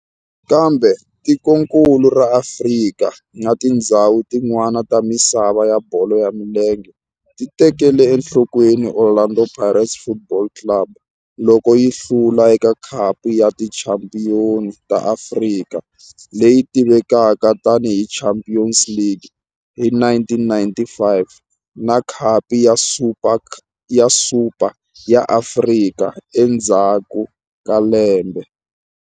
Kambe tikonkulu ra Afrika na tindzhawu tin'wana ta misava ya bolo ya milenge ti tekele enhlokweni Orlando Pirates Football Club loko yi hlula eka Khapu ya Tichampion ta Afrika, leyi tivekaka tani hi Champions League, hi 1995 na Khapu ya Super ya Afrika endzhaku ka lembe.